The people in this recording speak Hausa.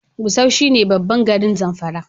Gusau shi ne babban garin Zamfara